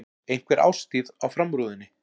Einhver árstíð á framrúðunni.